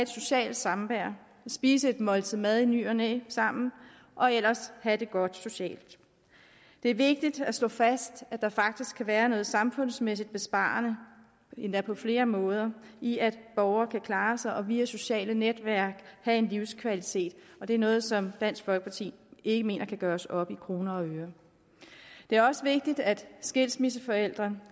socialt samvær spise et måltid mad i ny og næ sammen og ellers at have det godt socialt det er vigtigt at slå fast at der faktisk kan være noget samfundsmæssigt besparende endda på flere måder i at borgere kan klare sig og via sociale netværk have en livskvalitet og det er noget som dansk folkeparti ikke mener kan gøres op i kroner og øre det er også vigtigt at skilsmisseforældre